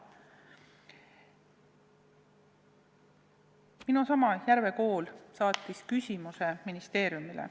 Minu seesama Järve Kool saatis küsimuse ministeeriumile.